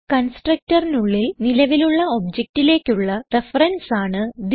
constructorനുള്ളിൽ നിലവിലുള്ള objectലേക്കുള്ള റെഫറൻസ് ആണ് തിസ്